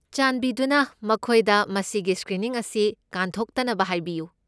ꯆꯥꯟꯕꯤꯗꯨꯅ ꯃꯈꯣꯏꯗ ꯃꯁꯤꯒꯤ ꯁ꯭ꯀ꯭ꯔꯤꯅꯤꯡ ꯑꯁꯤ ꯀꯥꯟꯊꯣꯛꯇꯅꯕ ꯍꯥꯏꯕꯤꯌꯨ꯫